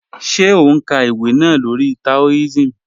Ṣé ó n ká ìwé náà lórí Taoism?